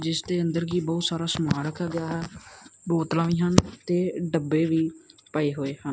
ਜਿੱਸ ਦੇ ਅੰਦਰ ਕੀ ਬਹੁਤ ਸਾਰਾ ਸਮਾਨ ਰੱਖਾ ਗਿਆ ਹੈ ਬੋਤਲਾਂ ਵੀ ਹਨ ਤੇ ਡੱਬੇ ਵੀ ਪਏ ਹੋਏ ਹਨ।